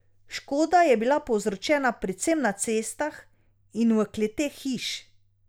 Škoda je bila povzročena predvsem na cestah in v kleteh hiš.